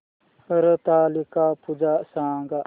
हरतालिका पूजा सांग